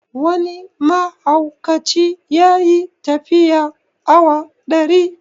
Wani mahaukaci ya yi tafiya awa ɗari